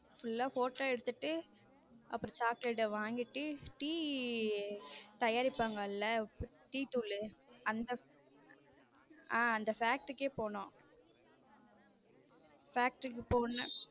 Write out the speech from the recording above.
Full லா photo எடுத்துட்ட அப்புறம் chocolate வாங்கிட்டு டீ தயாரிப்பாங்க இல்ல டீ தூள் அந்த அந்த factory க்கு போனோம் factory க்கு போனோம்.